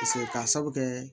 Paseke ka sabu kɛ